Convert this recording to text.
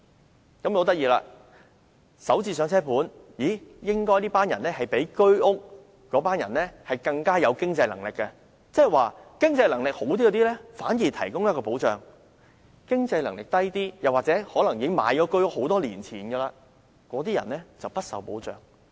很有趣的是，"港人首置上車盤"業主應該較居屋業主更有經濟能力，惟政府反而為經濟能力較佳的人提供保障，而那些經濟能力較低或購置居屋多年的人卻不受保障。